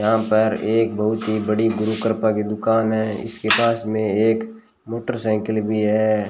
यहां पर एक बहुत ही बड़ी गुरू कृपा की दुकान है इसके पास में एक मोटरसाइकिल भी है।